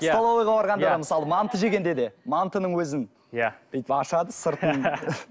столовыйға барғанда да мысалы манты жегенде де мантының өзін иә бүйтіп ашады сыртын